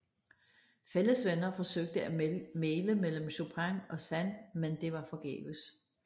Fælles venner forsøgte at mægle mellem Chopin og Sand men det var forgæves